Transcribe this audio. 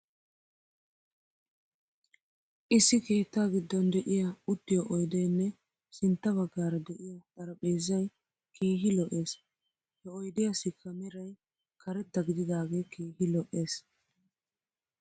Issi keetta giddon de'iyaa uttiyoo oydeenne sintta bagaara de'iyaa xarpheezzay keehi lo'es. He oydiyaassikka meray karetta gididaagee keehi lo'es .